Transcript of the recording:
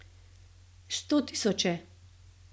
Sto tisoče!